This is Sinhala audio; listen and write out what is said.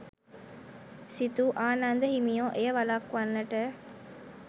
සිතූ ආනන්ද හිමියෝ එය වළක්වන්නට